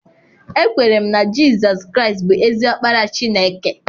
Ekwere m na Jizọs Kraịst bụ ezi Ọkpara Chineke.